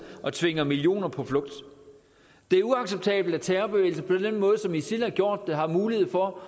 og tvinger millioner på flugt det er uacceptabelt at terrorbevægelser på den måde som isil har gjort det har mulighed for